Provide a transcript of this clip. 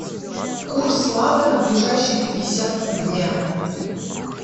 курс лата на ближайшие пятьдесят дня